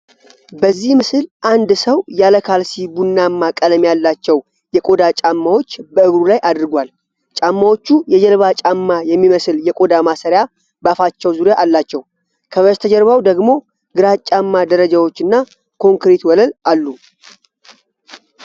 በዚህ ምስል አንድ ሰው ያለ ካልሲ ቡናማ ቀለም ያላቸው የቆዳ ጫማዎች በእግሩ ላይ አድርጓል። ጫማዎቹ የጀልባ ጫማ የሚመስል የቆዳ ማሰሪያ በአፋቸው ዙሪያ አላቸው። ከበስተጀርባው ደግሞ ግራጫማ ደረጃዎች እና ኮንክሪት ወለል አሉ።